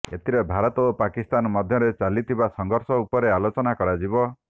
ଏଥିରେ ଭାରତ ଓ ପାକିସ୍ତାନ ମଧ୍ୟରେ ଚାଲିଥିବା ସଂଘର୍ଷ ଉପରେ ଆଲୋଚନା କରାଯିବ